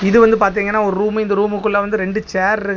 இது வந்து பாத்தீங்கன்னா ஒரு ரூம் இந்த ரூம்குள்ள வந்து ரெண்டு சேரு இருக்குது.